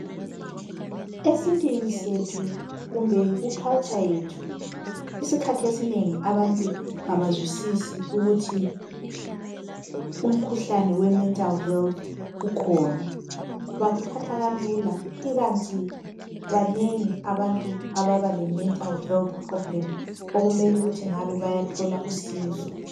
esintwini sethu kumbe ku culture yethu isikhathi esinengi abantu abazwisisi ukuthi umkhuhlane we mental health ukhona bakuthatha kalula ikanti banengi abantu ababa le mental health problem okumele ukuthi ngaba bayathola usizo